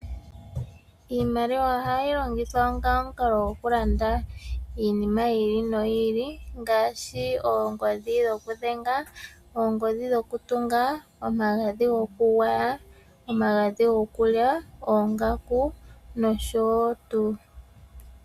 Iimaliwa ohayi longithwa onga omukalo gokulanda iinima yi ili noyi ili ngaashi oongodhi dhokudhenga, oongodhi dhokutunga , omagadhi gokugwaya omagadhi gokulya ongaku noshowo tuu.